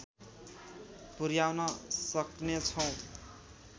पुर्‍याउन सक्नेछौँ